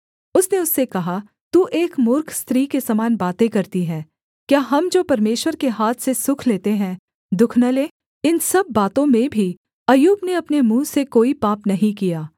उसने उससे कहा तू एक मूर्ख स्त्री के समान बातें करती है क्या हम जो परमेश्वर के हाथ से सुख लेते हैं दुःख न लें इन सब बातों में भी अय्यूब ने अपने मुँह से कोई पाप नहीं किया